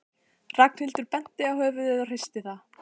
Ragnhildur benti á höfuðið og hristi það.